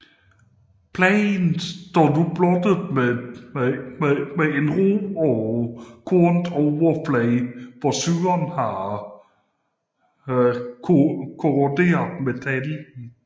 Pladen står nu blottet med en ru og kornet overflade hvor syren har korroderet metallet